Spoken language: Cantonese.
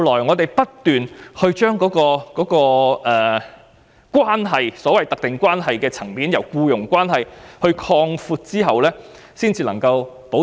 我們其後不斷從特定關係的層面擴闊僱傭關係，這類員工才獲得保障。